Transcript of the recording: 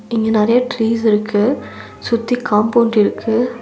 இங்க நரையா ட்ரீஸ் இருக்கு சுத்தி காம்பவுண்ட் இருக்கு.